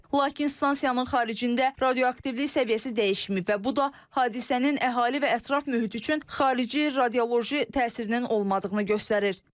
Lakin stansiyanın xaricində radioaktivlik səviyyəsi dəyişməyib və bu da hadisənin əhali və ətraf mühit üçün xarici radioloji təsirinin olmadığını göstərir.